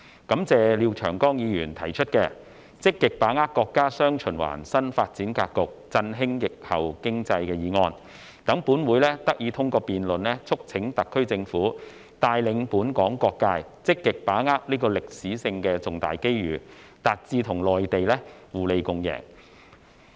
感謝廖長江議員提出的"積極把握國家'雙循環'新發展格局，振興疫後經濟"議案，讓本會得以通過辯論促請特區政府帶領本港各界，積極把握此歷史性重大機遇，達至與內地互利共贏。